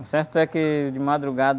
O certo é que, de madrugada,